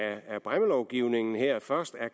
bræmmelovgivningen her først